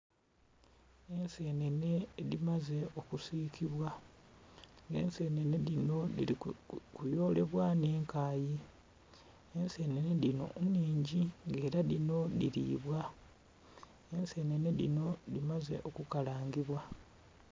Ensenhenhe edhimaze okusikibwa, nga ensenhenhe dhino dhiri kuyolebwa nh'ekayi. Ensenhenhe dhino nnhingi nga era dhino dhiribwa, ensenhenhe dhino dhimaze okukalangibwa.